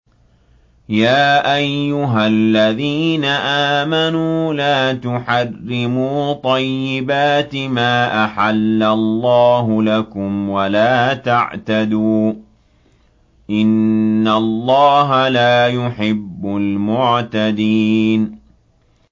يَا أَيُّهَا الَّذِينَ آمَنُوا لَا تُحَرِّمُوا طَيِّبَاتِ مَا أَحَلَّ اللَّهُ لَكُمْ وَلَا تَعْتَدُوا ۚ إِنَّ اللَّهَ لَا يُحِبُّ الْمُعْتَدِينَ